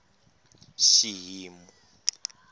xihimu